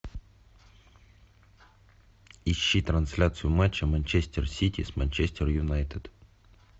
ищи трансляцию матча манчестер сити с манчестер юнайтед